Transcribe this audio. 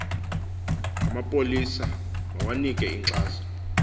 amapolisa mawanike inkxaso